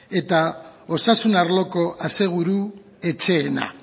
eta osasun arloko aseguru etxeena